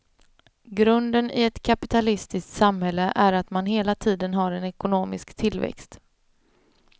Grunden i ett kapitalistiskt samhälle är att man hela tiden har en ekonomisk tillväxt.